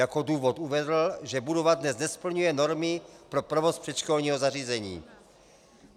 Jako důvod uvedl, že budova dnes nesplňuje normy pro provoz předškolního zařízení.